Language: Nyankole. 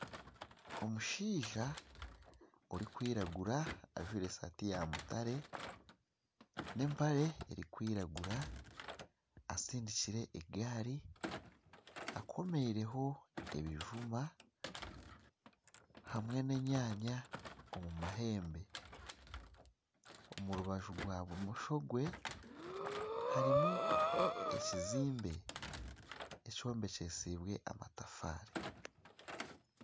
Omushaija orikwiragura ajwaire esaati ya mutare n'empare erikwiragura atsindikire egaari akomireho ebijuma hamwe n'enyanya omu mahembe omu rubaju rwa bumosho bwe harimu ekizimbe ekyombekyesibwe amatafaari.